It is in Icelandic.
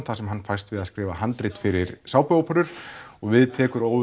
þar sem hann fæst við að skrifa handrit fyrir sápuóperur og við tekur